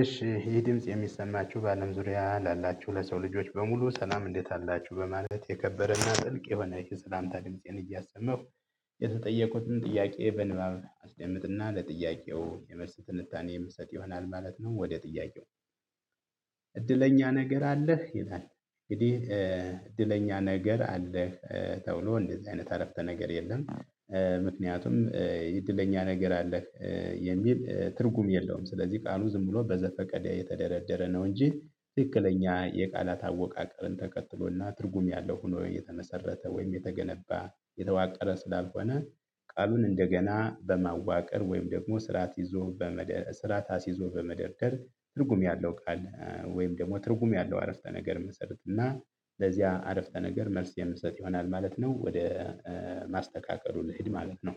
እሺ ይህ ድምጽ የሚሰማችሁ በአለም ዙሪያ ላላችሁ ለሰው ልጆች በሙሉ ሰላም እንዴት አላችሁ በማለት የከበረና ጥልቅ የሆነ የሰላምታ ድምፄን እያሰማው የተጠየቁትን ጥያቄ በንባብ አስቀምጥና ለጥያቄው የመልስ ትንታኔ የምሰጥ ይሆናል ማለት ነው። ወደ ጥያቄው እድለኛ ነገር አለህ ይላል እድለኛ ነገር አለህ ተብሎ እንደዚህ አይነት አረፍተ ነገር የለም። ምክንያቱም የእድለኛ ነገር አለህ የሚል ትርጉም የለውም ስለዚህ ቃሉ ዝም ብሎ በዘፈቀደ የተደረደረ ነው። እንጂ ትክክለኛ የቃላት አወቃቀርን ተከትሎና ትርጉም ያለው ሆኖ እየተመሰረተ ወይም የተገነባ የተዋቀረ ስላልሆነ። ቃሉን እንደገና በማዋቀር ወይም ደግሞ ስርዓት ይዞ በመደ ስራዓት አሲዞ በመደርደር ትርጉም ያለው ቃል ወይም ደግሞ ትርጉም ያለው አረፍተ ነገር እንመሰረት እና ለዚያ አረፍተ ነገር መልስ የምሰጥ ይሆናል ማለት ነው። ወደ ማስተካከሉ ልሂድ ማለት ነው።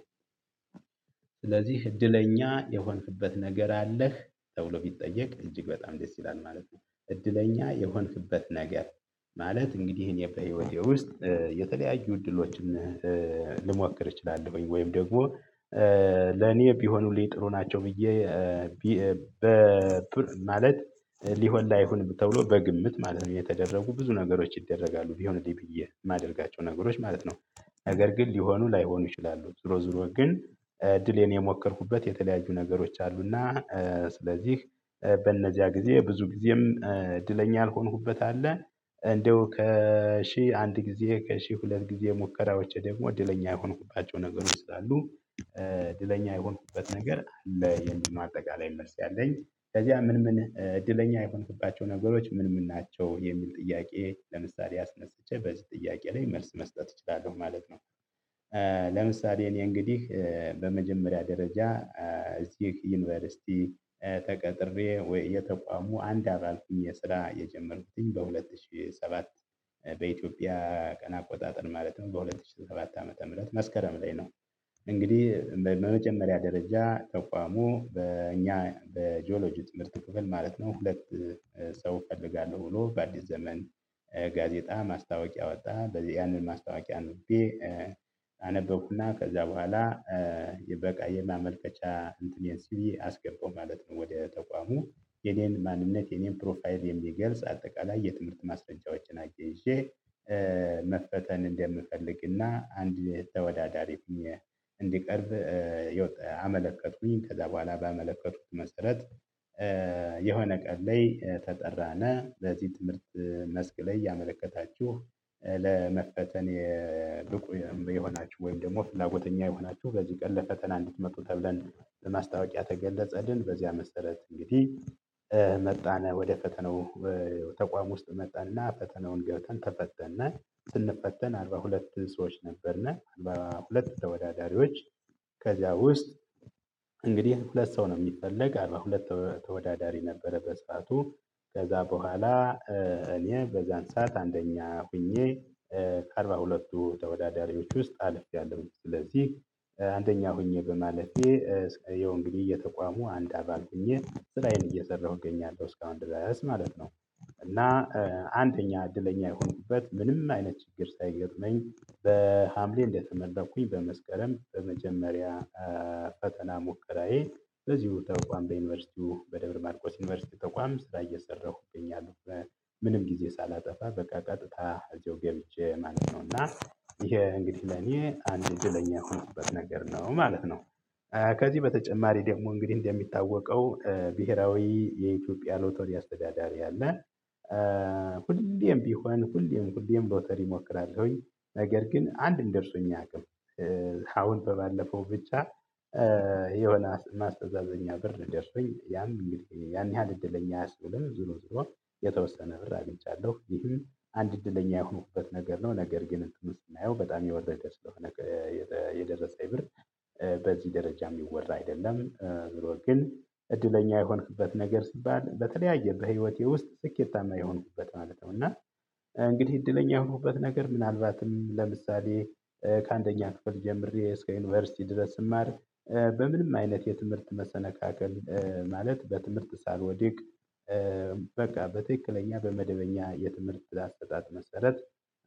ስለዚህ እድለኛ የሆንክበት ነገር አለህ ተብሎ ቢጠየቅ እጅግ በጣም ደስ ይላል ማለት ነው። እድለኛ የሆንክበት ነገር ማለት እንግዲህ እኔ በህይወቴ ውስጥ የተለያዩ እድሎችን ልሞክር እችላለሁኝ ወይም ደግሞ ለኔ ቢሆኑልኝ ጥሩ ናቸው ብዬ በማለት ሊሆን ላይሆን ተብሎ በግምት ማለት ነው የተደረጉ ብዙ ነገሮች ይደረጋሉ ቢሆንልኝ ብዬ የማደርጋቸው ነገሮች ማለት ነው። ነገር ግን ሊሆኑ ላይሆኑ ይችላሉ ዙሮ ዙሮ ግን ዕድሌን የሞከርኩበት የተለያዩ ነገሮች አሉና። ስለዚህ በእነዚያ ጊዜ ብዙ ጊዜም እድለኛ ያልሆንኩበት አለ። እንደው ከሺህ አንድ ጊዜ ከሺህ ሁለት ጊዜ ሙከራዎች ደግሞ እድለኛ የሆንኩባቸው ነገሮች ስላሉ። እድለኛ የሆንኩበት ነገር ለየእንግሊው አጠቃላይ መልስ ያለኝ ከዚያ ምን ምን እድለኛ የሆንክባቸው ነገሮች ምን ምን ናቸው የሚል ጥያቄ ለምሳሌ አስነስቼ በዚህ ጥያቄ ላይ መልስ መስጠት እችላለሁ ማለት ነው። ለምሳሌ እኔ እንግዲህ በመጀመሪያ ደረጃ እዚህ ዩኒቨርሲቲ ተቀጥሬ ወይ የተቋሙ አንድ አባል ሆኜ ስራ የጀመርኩትኝ በሁለት ሺህ ሰባት በኢትዮጵያ ቀን አቆጣጠር ማለትም በሁለት ሺህ ሰባት ዓመተ ምህረት መስከረም ላይ ነው። እንግዲህ በመጀመሪያ ደረጃ ተቋሙ በእኛ በጂኦሎጂ ትምሀርት ክፍል ማለት ነው። ሁለት ሰው እፈልጋለሁ ብሎ በአዲስ ዘመን ጋዜጣ ማስታወቂያ አወጣ በዚህ ያንን ማስታወቂያ አነበብኩና ከዛ በኋላ የበቃ የማመልከቻ እንትን ሲቪ አስገባው ማለት ነው። ወደ ተቋሙ የኔን ማንነት የኔን ፕሮፋይል የሚገልጽ አጠቃላይ የትምህርት ማስረጃዎችን ይዤ እንደምፈልግና አንድ ተወዳዳሪ እንድቀርብ አመለከትኩኝ። ከዛ በኋላ ባመለከትኩት መሰረት የሆነ ቀን ላይ ተጠራን። በዚህ ትምህርት መስክ ላይ ያመለከታችሁ ለመፈተን የብቁ የሆናችሁ ወይም ደግሞ ፍላጎተኛ የሆናችሁ በዚህ ቀን ለፈተና እንድትመጡ ተብለን ለማስታወቂያ ተገለጸልን። በዚያ መሰረት እንግዲህ መጣን ወደ ፈተናው ተቋም ውስጥ መጣንና ፈተናውን ገብተን ተፈተንናል። ስንፈተን አርባ ሁለት ሰዎች ሰዎች ነበርን። በሁለት ተወዳዳሪዎች ከዚያ ውስጥ እንግዲህ ሁለት ሰው ነው የሚፈለግ አርባ ሁለት ተወዳዳሪ ነበረ። በስፋቱ ከዛ በኋላ እኔ በዛን ሰዓት አንደኛ ሆኜ ከአርባ ሁለትቱ ተወዳዳሪዎች ውስጥ አልፍያለሁኝ። ስለዚህ አንደኛ ሆኜ በማለፌ ያው እንግዲህ የተቋሙ አንድ አባል ሆኜ ስራዬን እየሰራሁ እገኛለሁ እስካሁን ድረስ ማለት ነው። እና አንደኛ እድለኛ የሆንኩበት ምንም አይነት ችግር ሳይገጠመኝ በሀምሌ እንደተመረኩኝ በመስከረም በመጀመሪያ ፈተና ሙከራዬ በዚሁ ቦታ ተቋም በዩኒቨርሲቲው በደብረ ማርቆስ ዩኒቨርሲቲ ተቋም ስራ እየሰራሁ እገኛለሁ። ምንም ጊዜ ሳላጠፋ በቃ ቀጥታ እዚሁ ገብቼ ማለት ነው እና ይሄ እንግዲህ ለኔ አንድ እድለኛ የሆኑበት ነገር ነው ማለት ነው። ከዚህ በተጨማሪ ደግሞ እንግዲህ እንደሚታወቀው ብሄራዊ የኢትዮጵያ ሎተሪ አስተዳዳሪ አለ። ሁሌም ቢሆን ሁሌም ሁሌም ሎተሪ እሞክራለሁኝ ነገር ግን አንድም ደርሶኝ አያውቅም። አሁን በባለፈው ብቻ ማስተዛዘኛ ብር ደርሶኝ ያም ያን ያህል እድለኛ አያስብልም። ዞሮዞሮ የተወሰነ ብር አግኝቻለሁ ይህም አንድ እድለኛ የሆኑበት ነገር ነው። ነገር ግን ብሩን ስናየው በጣም የወረደ ስለሆነ። የደረሰኝ ብር በዚህ ደረጃ የሚወራ አይደለም። ግን እድለኛ የሆንክበት ነገር ሲባል በተለያየ በህይወቴ ውስጥ ስኬታማ የሆንኩበት ማለት ነው። እና እንግዲህ እድለኛ የሆንኩበት ነገር ምናልባትም ለምሳሌ ከአንደኛ ክፍል ጀምሬ እስከ ዩኒቨርሲቲ ድረስ ስማር። በምንም አይነት የትምህርት መሰናካከል ማለት በትምህርት ሳልወድቅ። በቃ በተክለኛ በመደበኛ የትምህርት አስጣጥ መሰረት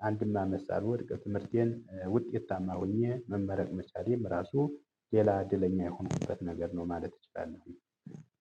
አንድም አመት ሳልወድቀ ትምህርቴን ውጤታማ ሆኜ መመረቅ መቻሌም ራሱ ሌላ እድለኛ የሆኑበት ነገር ነው። ማለት እችላለሁ።